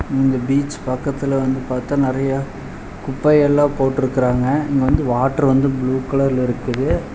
இந்த பீச் பக்கத்துல வந்து பாத்தா நெறையா குப்பையெல்லா போட்ருக்குறாங்க இங்க வந்து வாட்டர் வந்து ப்ளூ கலர்ல இருக்கு.